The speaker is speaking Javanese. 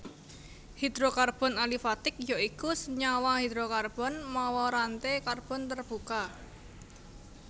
Hidrokarbon alifatik ya iku senyawa hidrokarbon mawa ranté karbon tarbuka